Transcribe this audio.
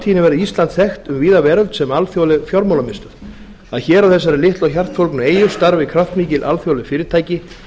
framtíðinni verði ísland þekkt um víða veröld sem alþjóðleg fjármálamiðstöð að hér á þessari litlu og hjartfólgnu eyju starfi kraftmikil alþjóðleg fyrirtæki